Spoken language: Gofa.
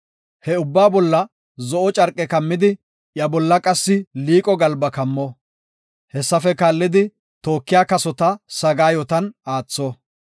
He ubbaa bolla zo7o carqe kammidi iya bolla qassi liiqo galba kammo; hessafe kaallidi tookiya kasota sagaayotan aatho.